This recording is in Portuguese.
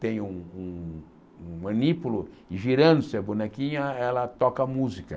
tem um um manípulo, e girando-se a bonequinha, ela toca música.